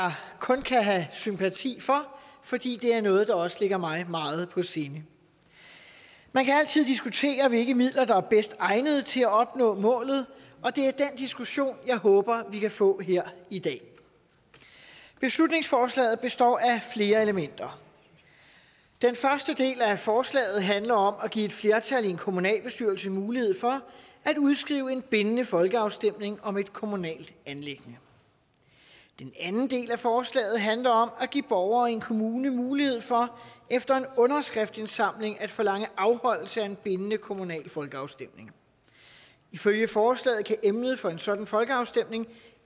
kun kan have sympati for fordi det er noget der også ligger mig meget på sinde man kan altid diskutere hvilke midler der er bedst egnede til at opnå målet og det er den diskussion jeg håber vi kan få her i dag beslutningsforslaget består af flere elementer den første del af forslaget handler om at give et flertal i en kommunalbestyrelse mulighed for at udskrive en bindende folkeafstemning om et kommunalt anliggende den anden del af forslaget handler om at give borgere i en kommune mulighed for efter en underskriftindsamling at forlange afholdelse af en bindende kommunal folkeafstemning ifølge forslaget kan emnet for en sådan folkeafstemning